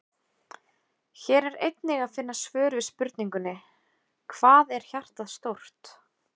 Hér er einnig að finna svör við spurningunum: Hvað er hjartað stórt?